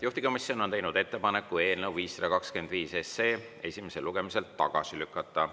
Juhtivkomisjon on teinud ettepaneku eelnõu 525 esimesel lugemisel tagasi lükata.